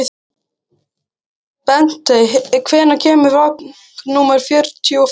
Bentey, hvenær kemur vagn númer fjörutíu og fimm?